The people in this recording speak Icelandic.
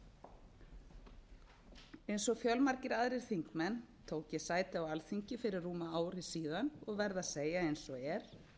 íslendinga eins og fjölmargir aðrir þingmenn tók ég sæti á alþingi fyrir rúmu ári síðan og verð að segja eins og er